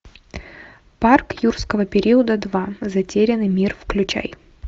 парк юрского периода два затерянный мир включай